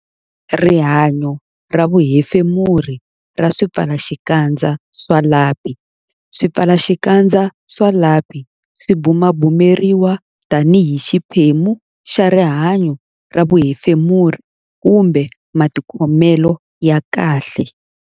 Rihanyo ra vuhefemuri ra swipfalaxikandza swa lapi Swipfalaxikandza swa lapi swi bumabumeriwa tanihi xiphemu xa rihanyo ra vuhefemuri kumbe matikhomelo ya kahle.